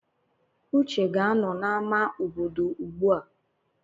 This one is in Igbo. Uche ga-anọ n'ámá obodo ugbua.